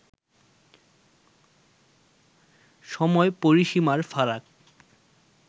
সময়-পরিসীমার ফারাক